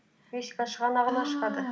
мексика шығанағына шығады